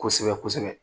Kosɛbɛ kosɛbɛ kosɛbɛ